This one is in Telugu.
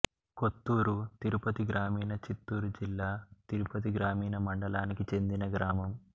కొత్తూరు తిరుపతి గ్రామీణ చిత్తూరు జిల్లా తిరుపతి గ్రామీణ మండలానికి చెందిన గ్రామం